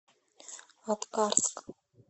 аткарск